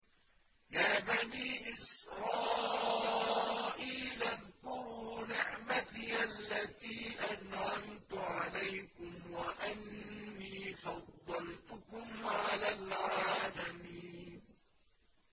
يَا بَنِي إِسْرَائِيلَ اذْكُرُوا نِعْمَتِيَ الَّتِي أَنْعَمْتُ عَلَيْكُمْ وَأَنِّي فَضَّلْتُكُمْ عَلَى الْعَالَمِينَ